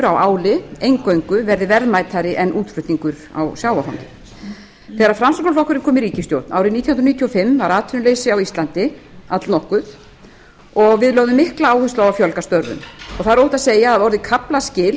áli eingöngu verði verðmætari en útflutningur á sjávarfangi þegar framsóknarflokkurinn kom í ríkisstjórn árið nítján hundruð níutíu og fimm var atvinnuleysi á íslandi allnokkuð og við lögðum mikla áherslu á að fjölga störfum það er óhætt að segja að það hafi orðið kaflaskil